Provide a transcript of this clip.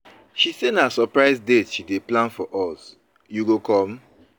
She say na surprise date she dey plan for us, you go come?